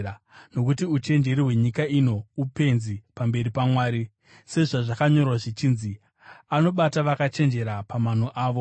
Nokuti uchenjeri hwenyika ino upenzi pamberi paMwari. Sezvazvakanyorwa zvichinzi: “Anobata vakachenjera pamano avo,”